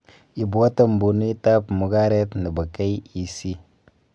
Ibwota mbunuitab mugaret nebo KEC